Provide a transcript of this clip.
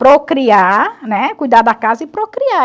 Procriar, né, cuidar da casa e procriar.